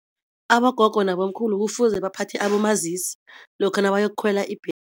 Abogogo nabomkhulu kufuze baphathe abomazisi lokha nabayokukhwela